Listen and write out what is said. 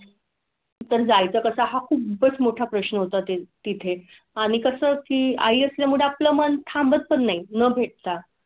तोळे सोनं आहे. हा आणि त्या वेळी निघाले लो तर ते फॉर्म वगैरे भराय चे की नाही तुम्ही फॉर्म भर आहे. घरा नंतर परमिशन घ्या तुम्ही. जाऊ नका तर तो पण एक मोठा प्रश्न होता आणि आपल्या ला परमिशन